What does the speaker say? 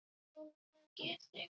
Núna á ég þig.